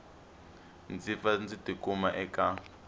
ndzi pfa ndzi tikuma eka